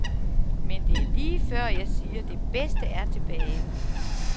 Men det er lige før, jeg siger, det bedste er tilbage.